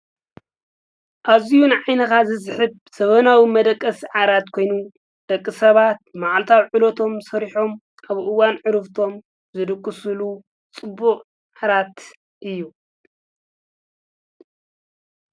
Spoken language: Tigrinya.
ኣዙይ ን ዒንኻ ዝስሕብ ዘበናዊ መደቀስ ዓራት ኮይኑ ደቂ ሰባት መዓልታው ዕሎቶም ሠሪሖም ኣብኡዋን ዕሩፍቶም ዘድክሱሉ ጽቡዕ ዓራት እዩ።